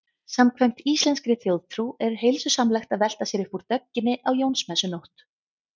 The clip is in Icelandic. Samkvæmt íslenskri þjóðtrú er heilsusamlegt að velta sér upp úr dögginni á Jónsmessunótt.